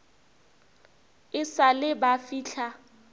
e sa le ba fihla